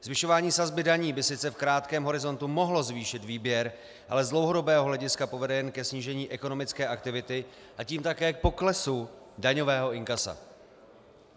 Zvyšování sazby daní by sice v krátkém horizontu mohlo zvýšit výběr, ale z dlouhodobého hlediska povede jen ke snížení ekonomické aktivity, a tím také k poklesu daňového inkasa.